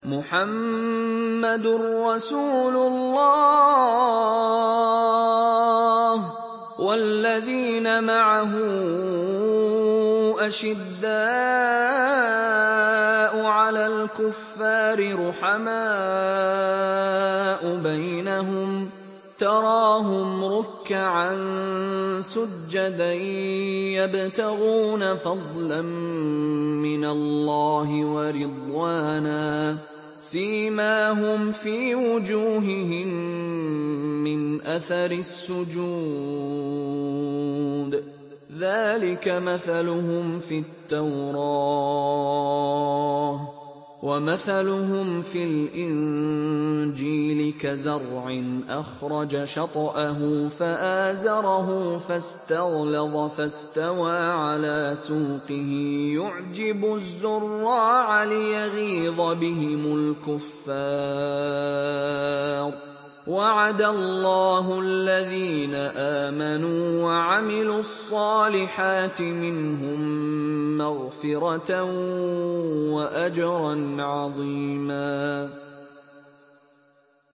مُّحَمَّدٌ رَّسُولُ اللَّهِ ۚ وَالَّذِينَ مَعَهُ أَشِدَّاءُ عَلَى الْكُفَّارِ رُحَمَاءُ بَيْنَهُمْ ۖ تَرَاهُمْ رُكَّعًا سُجَّدًا يَبْتَغُونَ فَضْلًا مِّنَ اللَّهِ وَرِضْوَانًا ۖ سِيمَاهُمْ فِي وُجُوهِهِم مِّنْ أَثَرِ السُّجُودِ ۚ ذَٰلِكَ مَثَلُهُمْ فِي التَّوْرَاةِ ۚ وَمَثَلُهُمْ فِي الْإِنجِيلِ كَزَرْعٍ أَخْرَجَ شَطْأَهُ فَآزَرَهُ فَاسْتَغْلَظَ فَاسْتَوَىٰ عَلَىٰ سُوقِهِ يُعْجِبُ الزُّرَّاعَ لِيَغِيظَ بِهِمُ الْكُفَّارَ ۗ وَعَدَ اللَّهُ الَّذِينَ آمَنُوا وَعَمِلُوا الصَّالِحَاتِ مِنْهُم مَّغْفِرَةً وَأَجْرًا عَظِيمًا